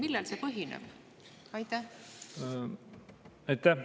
Aitäh!